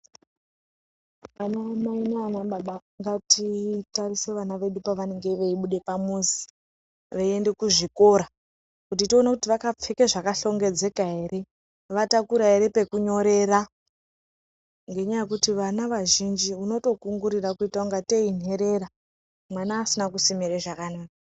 Vana mai nana baba ngatitarisei pavanenge veibuda pamuzi veienda kuzvikora kuti tione kuti takapfeka zvakashongedzeka ere vatakura ere pekunyorera nekuti vana vazhinji vatomgorira senherera vana vasina kusima zvakanaka.